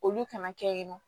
Olu kana kɛ yen nɔ